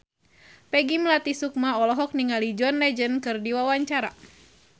Peggy Melati Sukma olohok ningali John Legend keur diwawancara